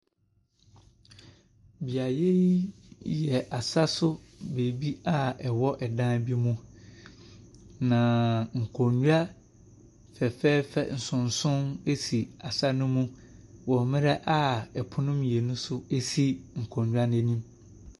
Beaeɛ yi yɛ asaso baabi a ɛwɔ ɛdan bi mu na nkonwa fɛfɛɛfɛ nsonson bi si asa no mu wɔ mmrɛ a ɛpono mmienu nso esi nkonwa nɛ nim.